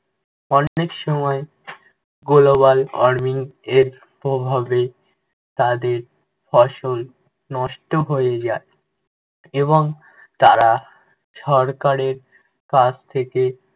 অনেক সময় global warming এর প্রভাবে তাদের ফসল নষ্ট হয়ে যায় এবং তারা সরকারের কাছ থেকে